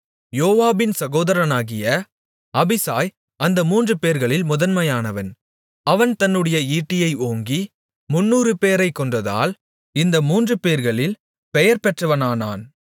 யோவாபின் சகோதரனாகிய அபிசாய் அந்த மூன்றுபேர்களில் முதன்மையானவன் அவன் தன்னுடைய ஈட்டியை ஓங்கி முந்நூறுபேரை கொன்றதால் இந்த மூன்றுபேர்களில் பெயர்பெற்றவனானான்